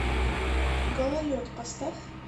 гололед поставь